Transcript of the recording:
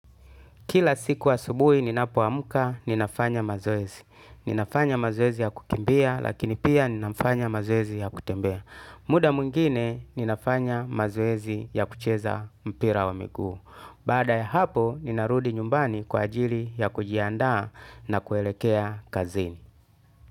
Kila siku asubuhi ninapo amka ninafanya mazoezi. Ninafanya mazoezi ya kukimbia lakini pia ninafanya mazoezi ya kutembea. Muda mwingine ninafanya mazoezi ya kucheza mpira wa miguu. Baada ya hapo ninarudi nyumbani kwa ajili ya kujianda na kuelekea kazini.